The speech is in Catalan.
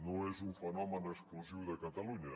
no és un fenomen exclusiu de catalunya